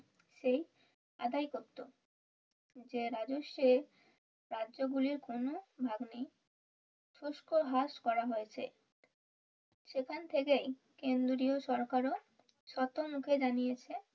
সেই আদায় করতো যে রাজস্বে কার্যাবলির কোনো ভাগ নেই শুষ্ক হ্রাস করা হয়েছে সেখান থেকেই কেন্দ্রীয় সরকারও শত মুখে জানিয়েছে